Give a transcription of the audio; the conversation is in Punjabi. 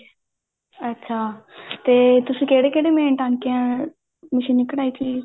ਅੱਛਾ ਤੇ ਤੁਸੀਂ ਕਹਿੜੇ ਕਹਿੜੇ ਮੈਂ ਟਾਂਕਿਆਂ ਮਸ਼ੀਨੀ ਕਢਾਈ ਸੀ